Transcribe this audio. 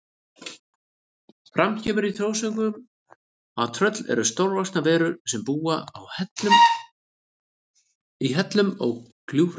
Fram kemur í þjóðsögum að tröll eru stórvaxnar verur sem búa í hellum og gljúfrum.